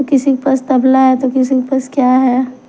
किसी के पास तबला है तो किसी के पास क्या है।